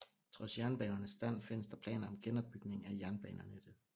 Trods jernbanernes stand findes der planer om genopbygning af jernbanenettet